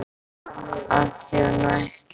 Af því hún ætlaði.